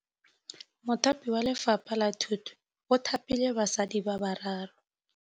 Mothapi wa Lefapha la Thutô o thapile basadi ba ba raro.